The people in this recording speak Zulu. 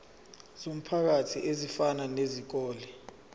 zomphakathi ezifana nezikole